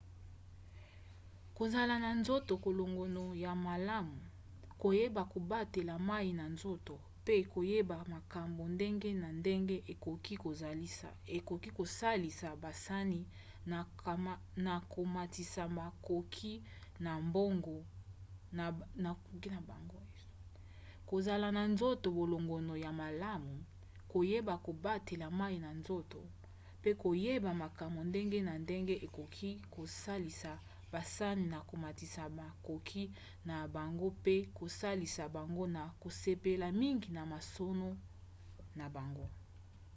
kozala na nzoto kolongono ya malamu koyeba kobatela mai na nzoto mpe koyeba makambo ndenge na ndenge ekoki kosalisa basani na komatisa makoki na bango mpe kosalisa bango na kosepela mingi na masano na bango